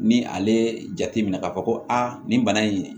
Ni ale jate minɛ k'a fɔ ko a nin bana in